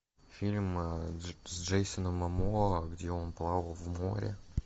фильм с джейсоном момоа где он плавал в море